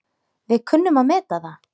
Við kunnum að meta það.